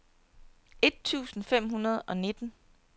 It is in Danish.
et tusind fem hundrede og nitten